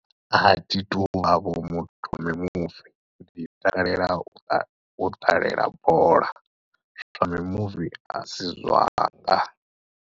Athi tuvha vho muthu na mimuvi ndi takalela u ṱalela bola zwa mimuvi asi zwanga.